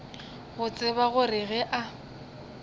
go tseba gore ge a